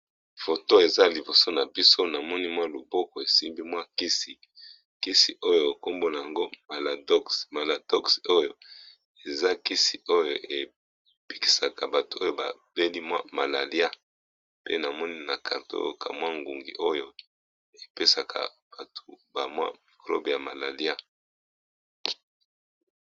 Foto eza liboso na biso na moni mwa loboko esimbi mwa kisi, kisi oyo kombo nango Maladox. Maladox oyo eza kisi oyo ebikisaka bato oyo ba beli mwa malalia, pe na moni na carton oyo ka mwa ngungi oyo epesaka bato ba mwa miglobe ya malalia.